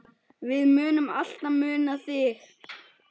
Við munum alltaf muna þig.